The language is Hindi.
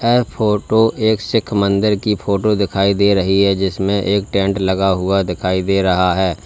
ऐ फोटो एक सीख मंदिर की फोटो दिखाई दे रही है जिसमें एक टेंट लगा हुआ दिखाई दे रहा है।